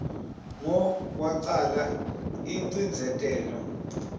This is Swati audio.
ngo kwacala ingcindzetelo